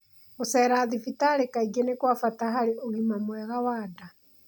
Gũceera thibitarĩ kaingĩ nĩ kwa bata harĩ ũgima mwega wa nda